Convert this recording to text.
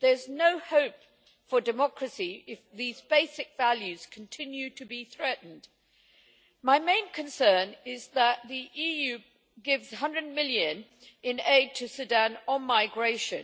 There is no hope for democracy if these basic values continue to be threatened. My main concern is that the EU gives EUR 100 million in aid to Sudan on migration.